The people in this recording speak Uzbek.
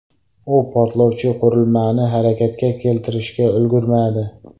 U portlovchi qurilmani harakatga keltirishga ulgurmadi.